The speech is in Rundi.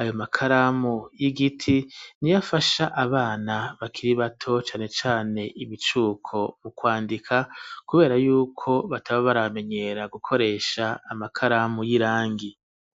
,ayo makaramu y'igiti niyafasha abana bakiri bato cane cane ibicuko mu kwandika kubera yuko bataba baramenyera gukoresha amakaramu y'irangi.